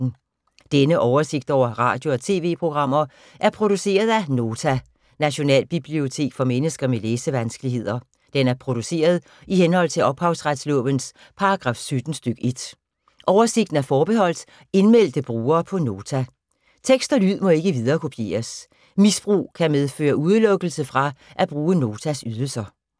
Denne oversigt over radio og TV-programmer er produceret af Nota, Nationalbibliotek for mennesker med læsevanskeligheder. Den er produceret i henhold til ophavsretslovens paragraf 17 stk. 1. Oversigten er forbeholdt indmeldte brugere på Nota. Tekst og lyd må ikke viderekopieres. Misbrug kan medføre udelukkelse fra at bruge Notas ydelser.